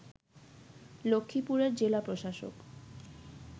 লক্ষীপুরের জেলা প্রশাসক